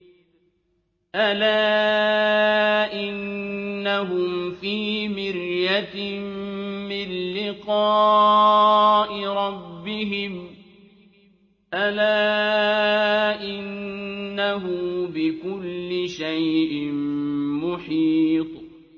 أَلَا إِنَّهُمْ فِي مِرْيَةٍ مِّن لِّقَاءِ رَبِّهِمْ ۗ أَلَا إِنَّهُ بِكُلِّ شَيْءٍ مُّحِيطٌ